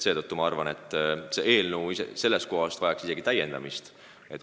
Seetõttu ma arvan, et vahest vajaks see eelnõu isegi täiendamist.